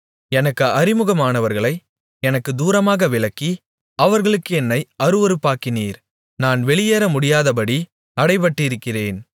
எனக்கு அறிமுகமானவர்களை எனக்குத் தூரமாக விலக்கி அவர்களுக்கு என்னை அருவருப்பாக்கினீர் நான் வெளியேற முடியாதபடி அடைபட்டிருக்கிறேன்